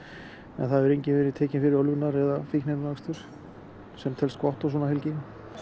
en enginn fyrir ölvunar eða fíkniefnaakstur sem telst gott svona helgi